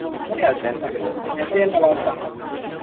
কথায় আছেন, mess এ না বাড়িতে?